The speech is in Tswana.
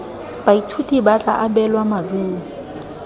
baithuti ba tla abelwa maduo